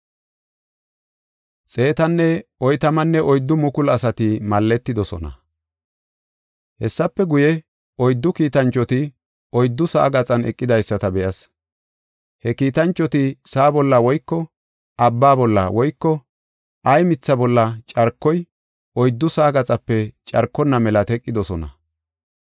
Hessafe guye, oyddu kiitanchoti oyddu sa7aa gaxan eqidaysata be7as. He kiitanchoti sa7a bolla woyko abba bolla woyko ay mitha bolla carkoy oyddu sa7aa gaxape carkonna mela teqidosona.